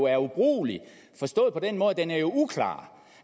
er ubrugelig forstået på den måde at den er uklar